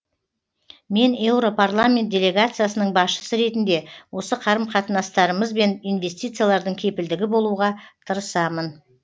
мен еуропарламент делегациясының басшысы ретінде осы қарым қатынастарымыз бен инвестициялардың кепілдігі болуға тырысамын